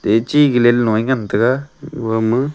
ye chi gilal low a ngan tega owa maa.